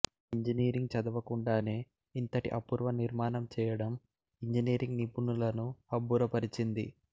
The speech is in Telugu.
ఇంజనీరింగ్ చదవకుండానే ఇంతటి అపూర్వ నిర్మాణం చేయడం ఇంజనీరింగ్ నిపుణులను అబ్బురపరచింది